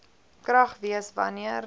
krag wees wanneer